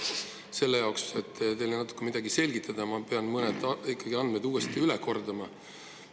Selle jaoks, et teile natuke midagi selgitada, ma pean mõned andmed ikkagi uuesti üle kordama.